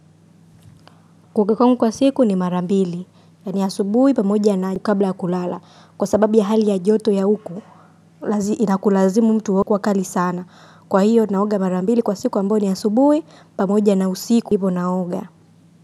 Kuoga kwangu kwa siku ni mara mbili, ni asubuhi pamoja na kabla ya kulala, kwa sababu ya hali ya joto ya huku, inakulazimu mtu huwa kali sana, kwa hivyo naoga mara mbili kwa siku ambayo ni asubuhi pamoja na usiku hivo naoga.